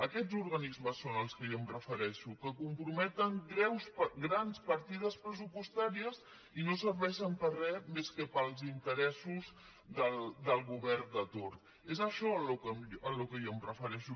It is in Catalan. aquests organismes són als que jo em refereixo que comprometen grans partides pressupostàries i no serveixen per res més que per als interessos del govern de torn és això al que jo em refereixo